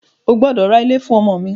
O gbọ́dọ̀ ra ilé fún ọmọ mi!